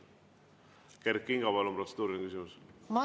Kert Kingo, palun, protseduuriline küsimus!